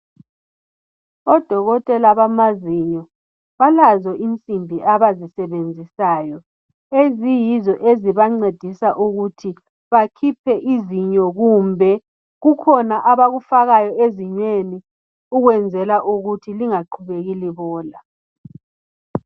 Odokotela bamazinyo balazo insimbi abazisebenzisayo eziyizo ezibancedisa ukuthi bakhipha izinyo kumbe kukhona abakufakayo ezinyweni ukwenzela ukuthi lingaqhubeki libola.